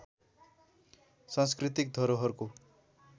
सांस्कृतिक धरोहरको